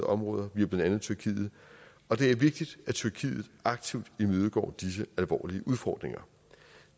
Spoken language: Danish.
områder via blandt andet tyrkiet og det er vigtigt at tyrkiet aktivt imødegår disse alvorlige udfordringer